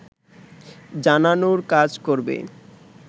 জানানোর কাজ করবে